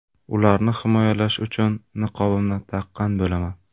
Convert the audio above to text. Ularni himoyalash uchun niqobimni taqqan bo‘laman.